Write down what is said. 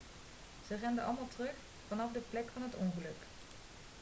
ze renden allemaal terug vanaf de plek van het ongeluk